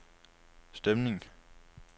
stemning